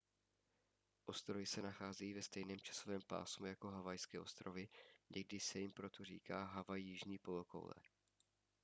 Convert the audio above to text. ostrovy se nacházejí ve stejném časovém pásmu jako havajské ostrovy někdy se jim proto říká havaj jižní polokoule